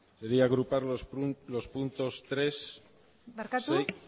bai quería agrupar los puntos tres seis barkatu